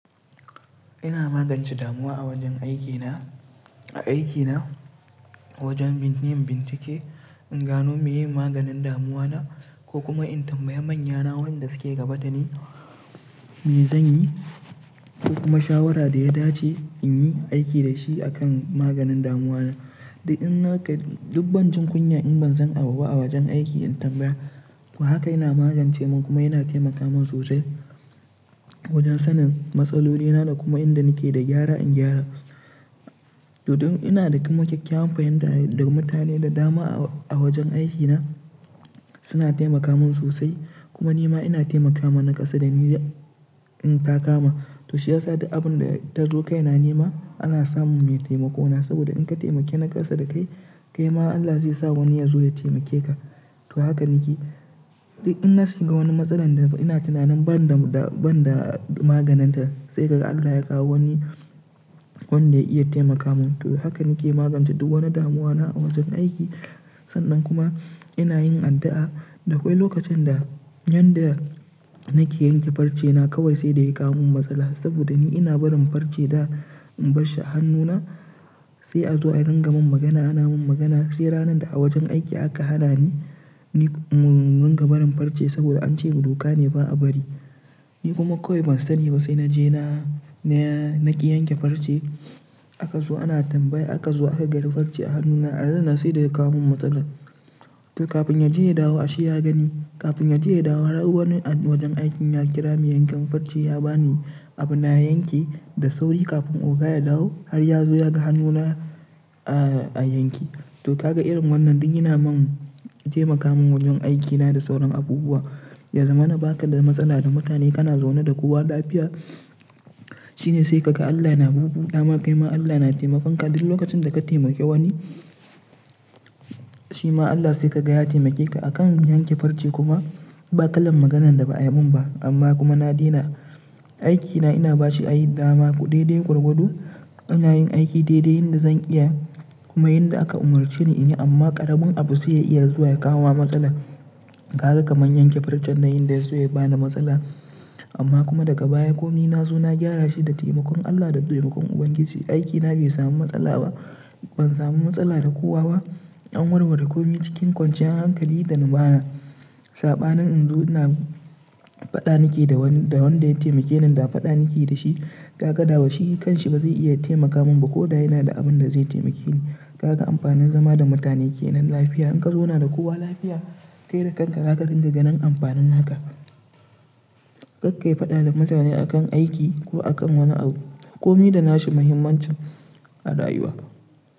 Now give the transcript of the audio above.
Ina magance damuwa a wajen aikina, a aikina wajen bin-yin binci ke, in gano meye maganin damuwa na ko kuma in tambayi manyana wanda suke gaba dani me zanyi ko kuma shawara da ya dace inyi aiki da shi akan maganin damuwa na. Du inna kar duk ban jin kunya in ban san a buba a wajen aiki in tambaya. To haka yana magance man kuma yana taimaka man sosai wajen sanin matsaloli na da kuma inda nake da gyara in gyara. To don ina da kuma kyakkyawan fahimta da mutane da dama a wajen aikina suna taimaka man sosai kuma nima ina taimakama na kasa da ni in takama. To shi yasa da duk abun da ta zo kai na nema ana samun mai taimako na saboda in ka taimake na kasa da kai, kai ma Allah zai sa wani ya zo ya taimake ka. To haka nake. Di inna shiga wani matsala da ina tunanin ban da, ban da maganinta sai kaga Allah ya kawo wani wanda ya iya taimaka man. To haka nake magance duk wani damuwa na a wajen aiki. Sannan kuma ina yin addu'a da akwai lokacin da, yanda nake yanke farce na kawai sai da ya kawo min matsala saboda ni ina barin farce da in barshi a hannuna sai a zo a rangamu magana ana mun magana sai ranar da a wajen aiki aka hana ni, ni in ranga barin farce saboda ance buduka ne ba a bari. Ni kuma kawai ban sani ba sai naje na, na ki yanke farce aka zo ana tambaya aka zo aka gani farce a hannuna a ran nan sai da ya kawo min matsala. To kafin ya je ya dawo asheb ya gani. Kafin ya je ya dawo har wani a wajen aikin ya kira mai yankan farce ya bani abu na yanke da sauri kafin oga ya dawo har ya zo ya ga hannuna a, a yanke. To kaga irin wannan duk yana man taimaka min wajen aikina da sauran abubuwa. Ya zama na baka da matsala da mutane kana zaune da kowa lafiya shine sai kaga Allah yana bubu dama kai ma Allah yana taimakon ka duk lokacin da ka taimake wani, shi ma Allah sai ka ga ya taimake ka. Akan yanke farce kuma ba kalan maganan da ba ai man ba amma kuma na daina. Aikina ina bashi ai dama ku ɗaiɗai gwargwado. Ina yin aiki daidai yanda zan iya kuma yanda aka umurce ni in yi amma karamin abu sai ya iya zuwa ya kawo ma matsala. Kaga kamar yanke farcen na in da ya so ya bani matsala. Amma kuma daga baya komi na zo na gyara shi da taimakon Allah da taimakon Ubangiji. Aikina bai samu matsala ba. Ban samu matsala da kowa ba. An warware komi cikin kwanciyar hankali da luma na. Saɓanin in zo ina fada nake da wan da wanda ya taimake nin, da fada nake da shi kaga da wa shi kan shi ba zai iya taimaka man ba koda yana da abin da zai taimake ni. Kaka amfanin zama da mutane kenan lafiya. In ka zauna da kowa lafiya, kai da kanka zaka ringa ga nin amfanin haka. Kakkai fada da mutane akan aiki ko akan wani abu. Komi da nashi muhimmancin a rayuwa.